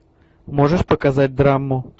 можешь показать драму